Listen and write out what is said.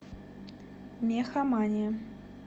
мехамания